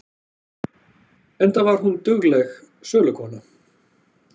Enda var hún dugleg sölukona.